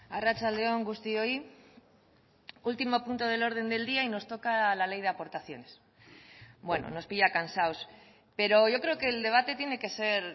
arratsalde on guztioi último punto del orden del día y nos toca la ley de aportaciones bueno nos pilla cansados pero yo creo que el debate tiene que ser